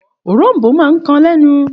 Òrom̀bó máa ń kan lẹ́nu.